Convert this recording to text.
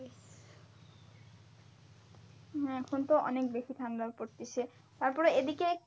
হ্যাঁ এখন তো অনেক বেশি ঠান্ডা পড়তিছে, তারপরে এদিকে